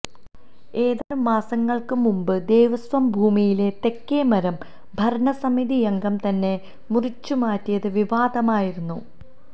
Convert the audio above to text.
ഏതാനും മാസങ്ങള്ക്ക് മുമ്പ് ദേവസ്വം ഭൂമിയിലെ തേക്ക് മരം ഭരണസമിതിയംഗം തന്നെ മുറിച്ചുമാറ്റിയത് വിവാദമായിരുന്നു